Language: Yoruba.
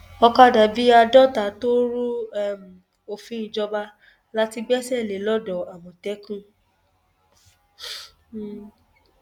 ọkadà bíi àádọta tó rú um òfin ìjọba la ti gbẹsẹ lé lodò àmọtẹkùn um